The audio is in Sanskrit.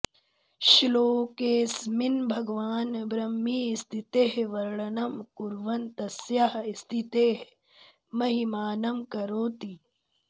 श्लोकेस्मिन् भगवान् ब्रह्मीस्थितेः वर्णनं कुर्वन् तस्याः स्थितेः महिमानं करोति